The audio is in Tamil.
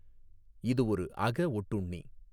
இது ஒரு அகஒட்டுண்ணி.